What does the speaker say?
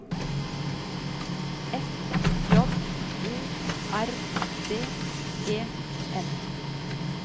F J O R D E N